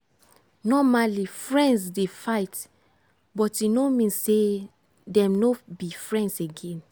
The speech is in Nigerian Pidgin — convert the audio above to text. normally friends dey fight but e no mean say dem no be friends again.